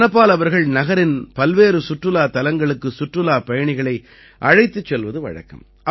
தனபால் அவர்கள் நகரின் பல்வேறு சுற்றுலாத் தலங்களுக்கு சுற்றுலாப் பயணிகளை அழைத்துச் செல்வது வழக்கம்